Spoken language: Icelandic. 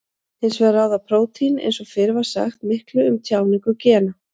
Hins vegar ráða prótín eins og fyrr var sagt miklu um tjáningu gena.